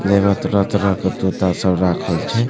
जेमें तरह-तरह के तोता सब राखल छे।